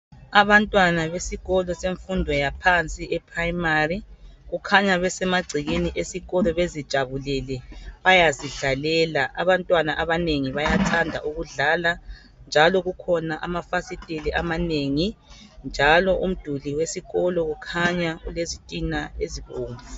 Abantwana besikolo semfundo yaphansi eprimary kukhanya besemagcekeni esikolo bezijabulele bezidlalela abantwana abanengi bayathanda ukudlala njalo kukhona amafasiteli amanengi njalo umduli wesikolo ukhanya ulezitina ezibomvu